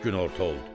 Günorta oldu.